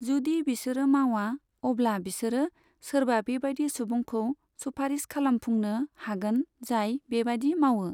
जुदि बिसोरो मावा, अब्ला बिसोरो सोरबा बेबादि सुबुंखौ सुफारिस खालामफुंनो हागन जाय बेबादि मावो।